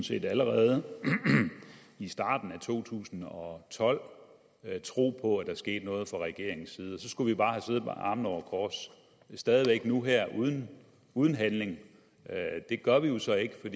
set allerede i starten af to tusind og tolv tro på at der skete noget fra regeringens side og så skulle vi bare have siddet med armene over kors stadig væk nu her uden uden handling det gør vi så ikke